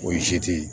O ye seti ye